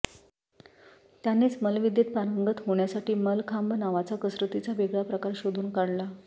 त्यांनीच मल्लविद्येत पारंगत होण्यासाठी मल्लखांब नावाचा कसरतीचा वेगळा प्रकार शोधून काढला